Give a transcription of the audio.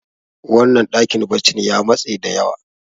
wannan dakin baccin ya matse da yawa